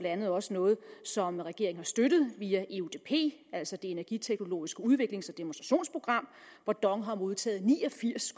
andet også noget som regeringen har støttet via eudp altså energiteknologisk udviklings og demonstrationsprogram hvor dong har modtaget ni og firs